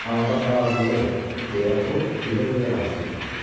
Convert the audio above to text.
Amma bax, ağıllı ol, deyə o, gülə-gülə razılıq verdi.